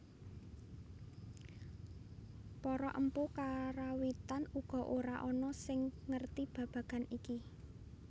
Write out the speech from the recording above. Para empu Karawitan uga ora ana sing ngerti babagan iki